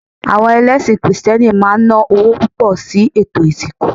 Awo̩n ẹlẹ́sìn krìstẹ́nì maa n na owo pupo̩ si ètò ìsìnkú